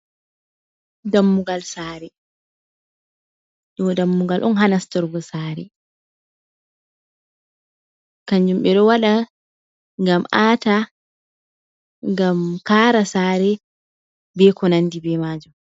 Dammugal saare , ɗo dammugal on ha nastorgo saare, kanjum ɓe ɗo waɗa ngam aata, ngam kaara saare, be ko nandi be maajum.